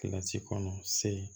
Kilasi kɔnɔ se